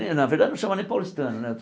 Na verdade, não chama nem paulistano, né?